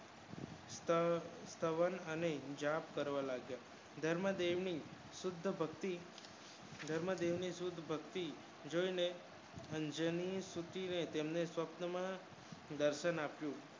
તો સંવત અને વિજેટ કરવા લાગ્યા ધર્મ ભેળ ની શુદ્ધ ભક્તિ વધારે સુધા ભક્તિ જાય ને જેમની સ્વપ્ન માં દર્શન આપ્યા